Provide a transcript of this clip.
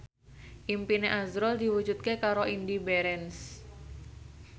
impine azrul diwujudke karo Indy Barens